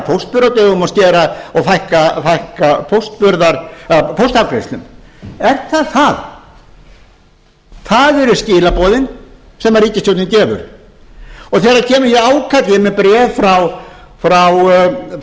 póstburðardögum og fækka póstafgreiðslum er það það það er skilaboðin sem ríkisstjórnin gefur og þegar kemur hér ákall ég er með bréf frá